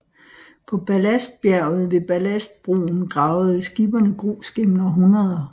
På Ballastbjerget ved Ballastbroen gravede skipperne grus gennem århundreder